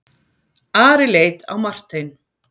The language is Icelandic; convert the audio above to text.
Ari leit á Martein.